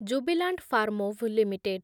Jubilant Pharmova limited